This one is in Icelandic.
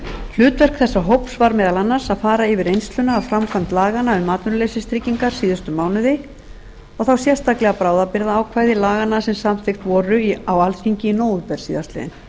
hlutverk þessa hóps var meðal annars að fara yfir reynsluna af framkvæmd laganna um atvinnuleysistryggingar síðustu mánuði og þá sérstaklega bráðabirgðaákvæði laganna sem samþykkt voru á alþingi í nóvember síðastliðinn